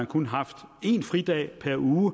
kun haft en fridag per uge